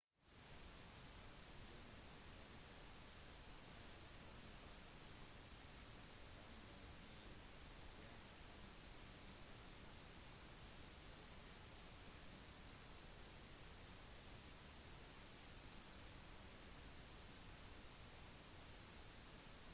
demonstranter har som mål å samle inn 1,2 millioner underskrifter for en underskriftskampanje til nasjonalkongressen i november